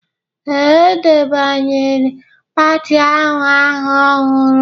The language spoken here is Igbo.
Ee, e debanyere pati ahụ aha ọhụrụ